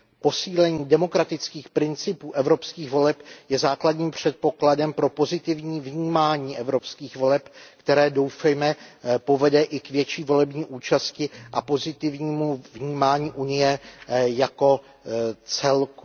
Posílení demokratických principů evropských voleb je základním předpokladem pro pozitivní vnímání evropských voleb, které, doufejme, povede i k větší volební účasti a pozitivnímu vnímání Unie jako celku.